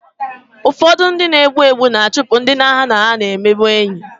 Ụfọdụ ndị na-egbu egbu ga-achụpụ ndị ha na ha na-emebụ enyị